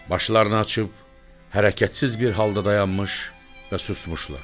Başlarını açıb hərəkətsiz bir halda dayanmış və susmuşlar.